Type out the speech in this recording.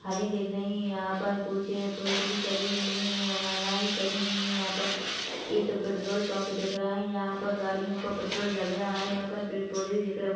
हरी दिख रही हैं यहाँ पर कुछ पुरुष भी खड़े हुए हैं और महिला भी खड़ी हुईं हैं यहाँ पर ये तो पेट्रोल पम्प दिख रहा है यहाँ पर गाड़ियों का पेट्रोल डल रहा है यहाँ पर पेड़ पॉधे भी दिख रहे है।